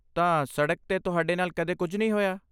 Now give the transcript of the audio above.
ਤਾਂ, ਸੜਕ 'ਤੇ ਤੁਹਾਡੇ ਨਾਲ ਕਦੇ ਕੁਝ ਨਹੀਂ ਹੋਇਆ?